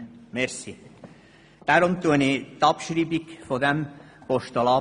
Deshalb bestreite ich die Abschreibung dieses Postulats.